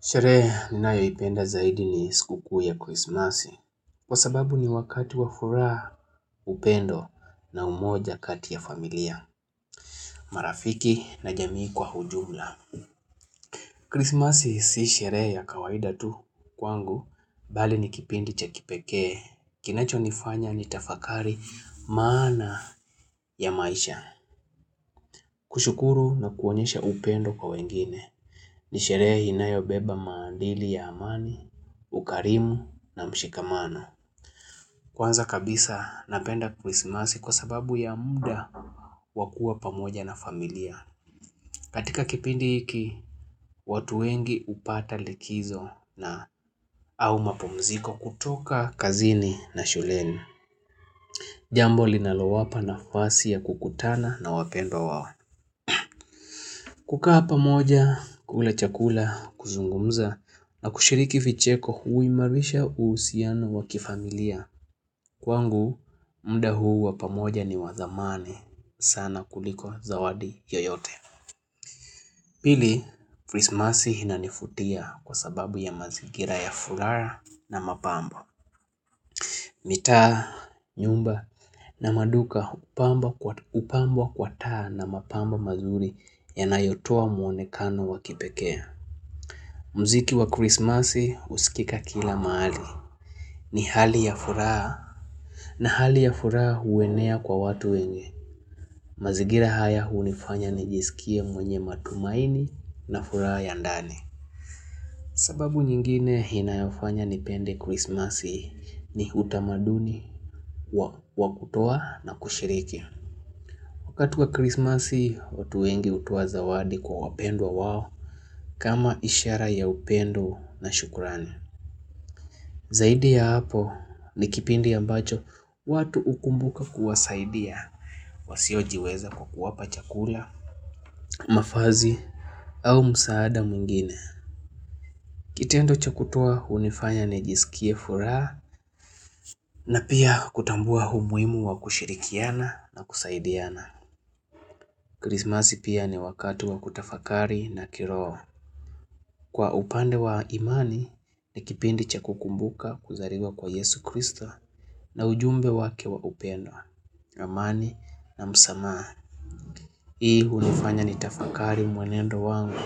Sherehe ninayo ipenda zaidi ni sikukuu ya Christmas Kwa sababu ni wakati wafuraha upendo na umoja kati ya familia marafiki na jamii kwa hujumla Christmas si sherehe ya kawaida tu kwangu Bali ni kipindi cha kipekee Kinacho nifanya ni tafakari maana ya maisha kushukuru na kuonyesha upendo kwa wengine ni sherehe inayo beba maandili ya amani ukarimu na mshikamano Kwanza kabisa napenda krismasi kwa sababu ya muda wakuwa pamoja na familia katika kipindi hiki, watu wengi upata likizo na au mapumziko kutoka kazini na shuleni Jambo linalo wapa na fasi ya kukutana na wapendwa wao kukaa pamoja, kula chakula, kuzungumza na kushiriki vicheko hui marisha uhusiano wakifamilia Kwangu, mda huu wapamoja ni wathamani sana kuliko zawadi yoyote. Pili, Christmas inanifutia kwa sababu ya mazigira ya furaha na mapambo. Mitaa, nyumba na maduka upambwa kwa taa na mapambo mazuri ya nayotoa mwonekano wakipekee. Mziki wa Christmas usikika kila maali. Ni hali ya furaha na hali ya furaha huenea kwa watu wenye. Mazigira haya unifanya nijisikie mwenye matumaini na furaha ya ndani sababu nyingine inayofanya nipende krismasi ni utamaduni wa kutoa na kushiriki Wakati wa krismasi hutoa wengi utoa zawadi kwa wapendwa wao kama ishara ya upendo na shukurani Zaidi ya hapo ni kipindi ambacho watu ukumbuka kuwasaidia wasio jiweza kwa kuwapa chakula, mafazi au msaada mwingine Kitendo chakutoa unifanya ni jisikie furaha na pia kutambua umuhimu wa kushirikiana na kusaidiana Krismasi pia ni wakati wa kutafakari na kiroho Kwa upande wa imani ni kipindi chakukumbuka kuzariwa kwa Yesu Kristo na ujumbe wake wa upendo, ramani na msamaha Hii unifanya ni tafakari mwenendo wangu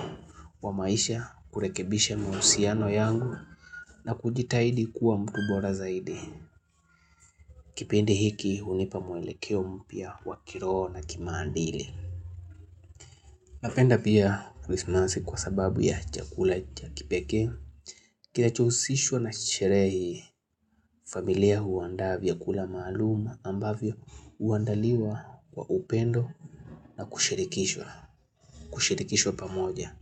wa maisha kurekebisha mahusiano yangu na kujitahidi kuwa mtubora zaidi Kipindi hiki unipa mwelekeo mpya wa kiroho na kimaandili Napenda pia krismasi kwa sababu ya chakula ja kipekee Kinachousishwa na chisherehe hii familia huandaa vya kula maalum ambavyo uandaliwa wa upendo na kushirikishwa kushirikishwa pamoja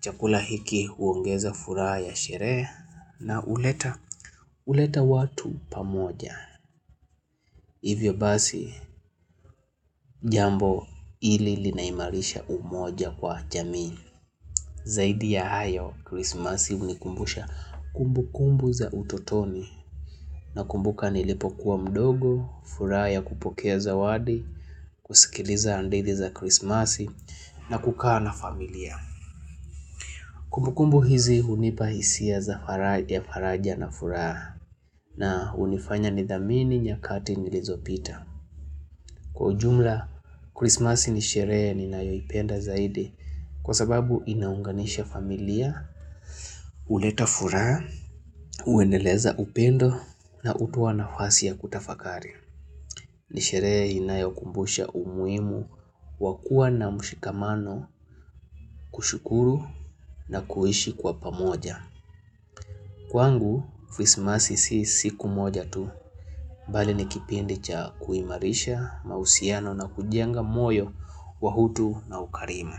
Chakula hiki uongeza furaha ya sherehe na uleta watu pamoja. Hivyo basi jambo ili linaimarisha umoja kwa jamii. Zaidi ya hayo, krismasi unikumbusha kumbu kumbu za utotoni. Na kumbuka nilipokuwa mdogo, furaha ya kupokea za wadi, kusikiliza andithi za krismasi na kukaa na familia. Kumbukumbu hizi unipahisia za faraja na furaha na unifanya nidhamini nyakati nilizopita. Kwa jumla, krismasi nisherehe ni nayo ipenda zaidi kwa sababu inaunganisha familia, uleta furaha, uendeleza upendo na utoa na fasi ya kutafakari. Nisherehe inayo kumbusha umuhimu wakuwa na mshikamano kushukuru na kuhishi kwa pamoja. Kwangu, krismasi si siku moja tu, bali nikipindi cha kuimarisha, mausiano na kujenga moyo wa hutu na ukarimu.